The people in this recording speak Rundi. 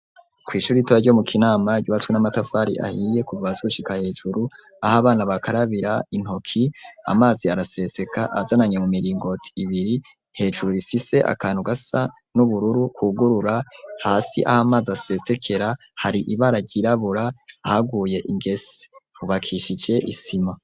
Kw'ishuri ritoya ryo mu kinama ry'ubatswe n'amatafari ahiye kuva hasi gushika hejuru, aho abana bakarabira intoki, amazi araseseka azananye mu miringoti ibiri hejuru ifise akantu gasa n'ubururu kugurura, hasi aho amazi asesekera hari ibara ryirabura haguye ingese hubakishije isima.